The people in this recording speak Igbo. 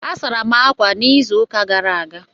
A sara m ákwà n'izuụka gara aga.